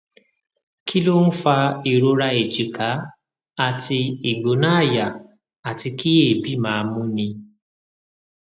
kí ló ń fa ìrora èjìká àti igbona aya àti kí eebi máa múni